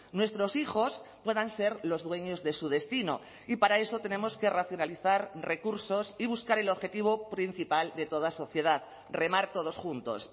nuestros hijos puedan ser los dueños de su destino y para eso tenemos que racionalizar recursos y buscar el objetivo principal de toda sociedad remar todos juntos